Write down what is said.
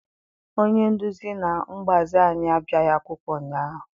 Onye nduzi na mgbazi anyị abịaghị akwụkwọ ụnyaahụ.